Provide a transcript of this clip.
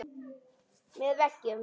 Með veggjum